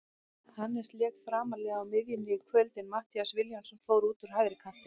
Hannes lék framarlega á miðjunni í kvöld en Matthías Vilhjálmsson fór út á hægri kantinn.